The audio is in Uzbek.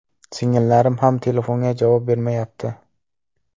Singillarim ham telefonga javob bermayapti.